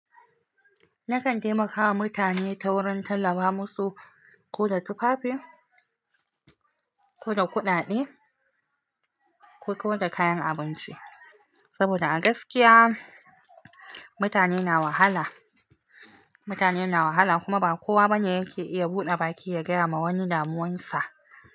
Nakan taimakawa mutane ta wurin tallafa musu ko da tufafi, ko da kuɗaɗe ko da kayan abinci. Saboda a gaskiya mutane na wahala, mutane na wahala kuma ba kowa bane yake iya buɗe baki ya gaya ma wani damuwansa.